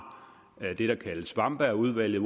det der kaldes wamberg udvalget